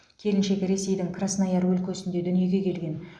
келіншек ресейдің краснояр өлкесінде дүниеге келген